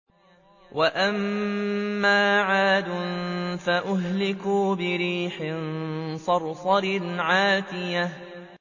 وَأَمَّا عَادٌ فَأُهْلِكُوا بِرِيحٍ صَرْصَرٍ عَاتِيَةٍ